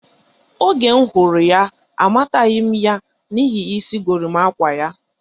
Oge m hụrụ ya, amataghi ya n'ihi isi gorimakwa ya.